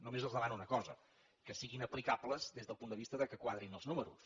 només els demano una cosa que siguin aplicables des del punt de vista que quadrin els números